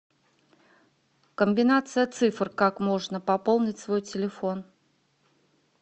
комбинация цифр как можно пополнить свой телефон